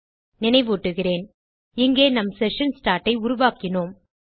நினைவூட்டுகிறேன் இங்கே நம் session start ஐ உருவாக்கினோம்